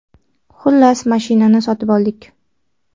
Xullas, mashinani sotib oldik.